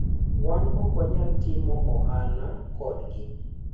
"Wan okwanyal timo ohala kodgi.